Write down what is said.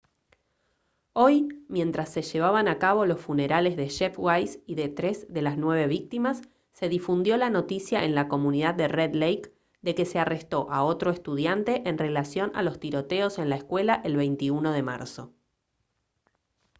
hoy mientras se llevaban a cabo los funerales de jeff weise y de tres de las nueve víctimas se difundió la noticia en la comunidad de red lake de que se arrestó a otro estudiante en relación a los tiroteos en la escuela el 21 de marzo